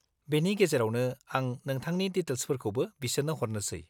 बेनि गेजेरावनो, आं नोंथांनि डिटेल्सफोरखौबो बिसोरनो हरनोसै।